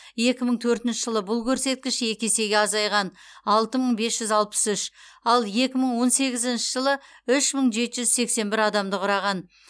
екі мың төртінші жылы бұл көрсеткіш екі есеге азайған алты мың бес жүз алпыс үш ал екі мың он сегізінші жылы үш мың жеті жүз сексен бір адамды құраған